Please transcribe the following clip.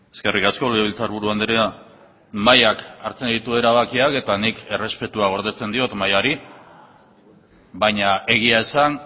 eskerrik asko legebiltzarburu andrea mahaiak hartzen ditu erabakiak eta nik errespetua gordetzen diot mahaiari baina egia esan